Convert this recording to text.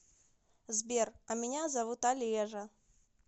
сбер а меня зовут олежа